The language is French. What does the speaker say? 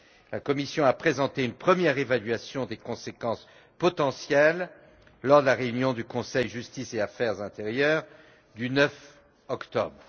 La Commission a présenté une première évaluation de ses conséquences potentielles lors de la réunion du Conseil Justice et affaires intérieures du 9 octobre.